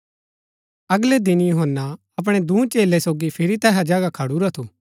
अगलै दिन यूहन्‍ना अपणै दूँ चेलै सोगी फिरी तैहा जगहा खडुरा थू